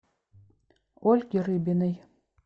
ольге рыбиной